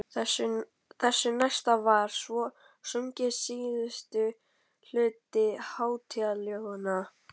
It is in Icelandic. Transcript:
Þessu næst var svo sunginn síðasti hluti hátíðaljóðanna.